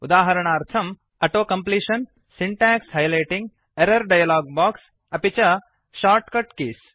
उदाजरणार्थं auto completion syntax highlighting error dialog box अपि च shortcut keys